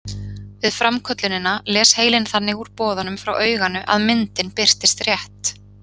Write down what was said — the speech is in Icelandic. Við framköllunina les heilinn þannig úr boðunum frá auganu að myndin birtist rétt.